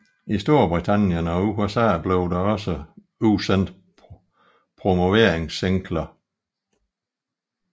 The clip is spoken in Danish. I Storbritannien og USA blev der også udsendt promoveringssingler